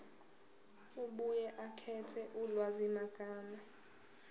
abuye akhethe ulwazimagama